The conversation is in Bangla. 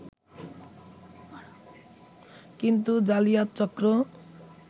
কিন্তু জালিয়াত চক্র